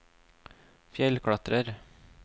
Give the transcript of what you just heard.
fjellklatrer